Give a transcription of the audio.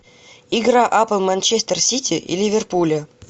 игра апл манчестер сити и ливерпуля